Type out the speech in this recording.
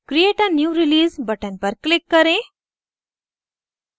create a new release button पर click करें